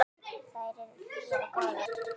Þær eru hlýjar og góðar.